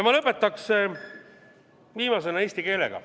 Ma lõpetaks viimasena eesti keelega.